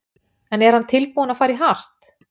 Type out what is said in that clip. En er hann tilbúinn að fara í hart?